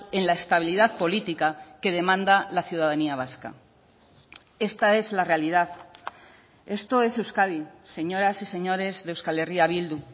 en la estabilidad política que demanda la ciudadanía vasca esta es la realidad esto es euskadi señoras y señores de euskal herria bildu